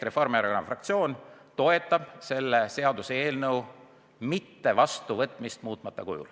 Reformierakonna fraktsioon toetab selle seaduse muutmata kujul mitte vastuvõtmist.